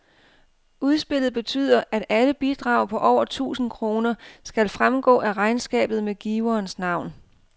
Udspillet betyder, at alle bidrag på over tusind kroner skal fremgå af regnskabet med giverens navn.